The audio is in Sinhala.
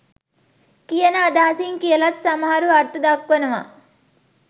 කියන අදහසින් කියලත් සමහරු අර්ථ දක්වනවා.